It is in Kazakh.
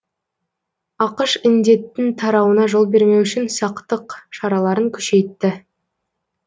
ақш індеттің тарауына жол бермеу үшін сақтық шараларын күшейтті